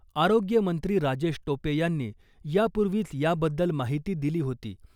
आरोग्य मंत्री राजेश टोपे यांनी यापूर्वीच याबद्दल माहिती दिली होती .